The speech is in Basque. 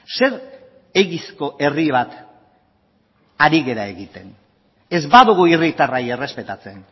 zer egizko herri bat ari gara egiten ez badugu herritarrei errespetatzen